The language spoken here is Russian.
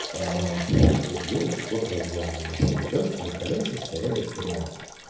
аа вот делают сход-развал на машине да чтобы колеса стояли прямо